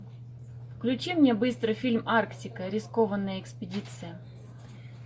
включи мне быстро фильм арктика рискованная экспедиция